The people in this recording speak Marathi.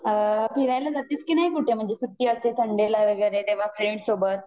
फिरायला जातेस की नाही कुठे म्हणजे सुट्टी असली संडेला वगैरे तेव्हा फ्रेंड्स सोबत